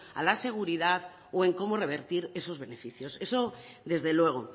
a la seguridad o en cómo revertir esos beneficios eso desde luego